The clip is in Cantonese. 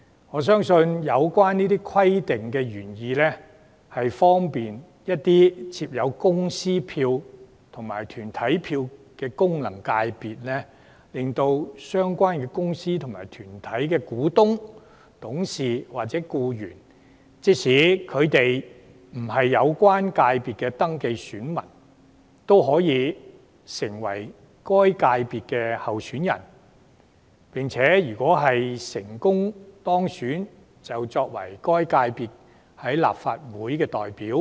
我相信有關規定的原意，是方便設有公司票及團體票的功能界別，令相關公司及團體的股東、董事或僱員，即使未登記為有關界別的選民，亦可成為該界別的候選人，有機會成為該界別的立法會代表。